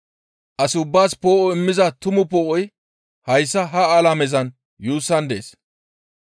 As ubbaas poo7o immiza tumu poo7oy hayssa ha alamezan yuussan dees.